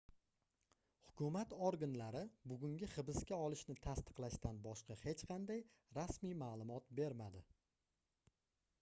hukumat organlari bugungi hibsqa olishni tasdiqlashdan boshqa hech qanday rasmiy maʼlumot bermadi